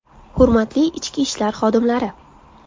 Hurmatli ichki ishlar xodimlari!